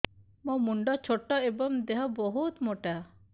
ମୋ ମୁଣ୍ଡ ଛୋଟ ଏଵଂ ଦେହ ବହୁତ ମୋଟା